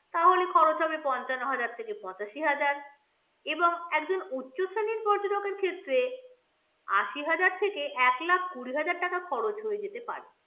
তাহলে খরচ হবে পঞ্চান্ন হাজার থেকে পঁচাশি হাজার এবং একজন উচ্চ শ্রেণীর ক্ষেত্রে আশি হাজার থেকে এক লাখ কুড়ি হাজার টাকা খরচ হয়ে যেতে পারে।